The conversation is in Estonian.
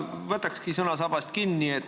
Ma võtan sõnasabast kinni.